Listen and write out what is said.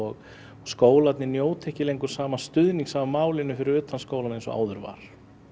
skólarnir njóta ekki lengur sama stuðnings að málinu fyrir utan skólana eins og áður var